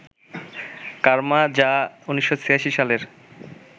কার্মা, যা ১৯৮৬সালের